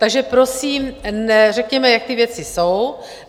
Takže prosím řekněme, jak ty věci jsou.